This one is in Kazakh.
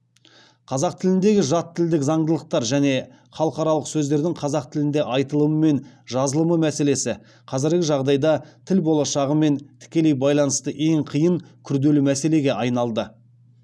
қазақ тіліндегі жат тілдік заңдылықтар және халықаралық сөздердің қазақ тілінде айтылымы мен жазылымы мәселесі қазіргі жағдайда тіл болашағымен тікелей байланысты ең қиын күрделі мәселеге айналды